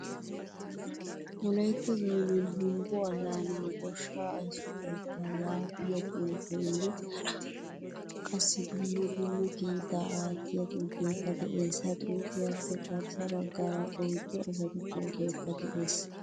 "Wolaytta zooniyan humbo allana goshsha aysso keettaa" yaagiyaa xuufene hara qassi dumma dumma kiita aattiya xuufekka de'ees. Ha xuufiyappe garssa baggaara oyddu asatu pootoykka de'ees.